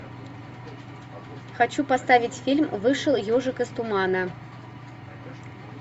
хочу поставить фильм вышел ежик из тумана